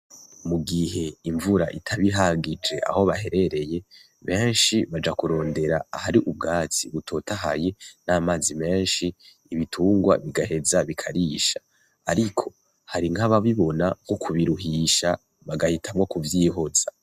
Mu gihe imvura itaba ihagije aho baherereye benshi baja kurondera ahari ubwatsi butotahaye n'amazi menshi ibitungwa bigaheza bikarisha ariko hari nkababibona nko kubiruhisha bagahitamwo kuvyihoza.